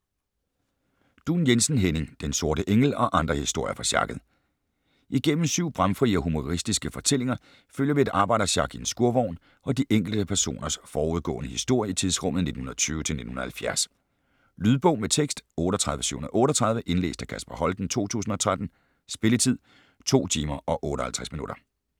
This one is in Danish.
Duun Jensen, Henning: Den sorte engel - og andre historier fra sjakket Igennem syv bramfrie og humoristiske fortællinger følger vi et arbejdersjak i en skurvogn og de enkelte personers forudgående historie i tidsrummet 1920-1970. Lydbog med tekst 38738 Indlæst af Kasper Holten, 2013. Spilletid: 2 timer, 58 minutter.